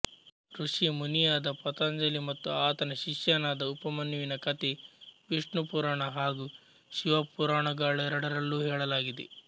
ಋಷಿ ಮುನಿಯಾದ ಪತಾಂಜಲಿ ಮತ್ತು ಆತನ ಶಿಷ್ಯನಾದ ಉಪಮನ್ಯುವಿನ ಕಥೆ ವಿಷ್ಣು ಪುರಾಣ ಹಾಗೂ ಶಿವಪುರಾಣಗಳೆರಡರಲ್ಲೂ ಹೇಳಲಾಗಿದೆ